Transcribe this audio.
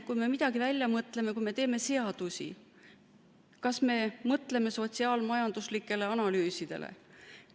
Kui me midagi välja mõtleme, kui me teeme seadusi, kas me mõtleme sotsiaal-majanduslikele analüüsidele?